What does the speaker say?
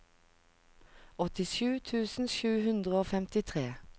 åttisju tusen sju hundre og femtitre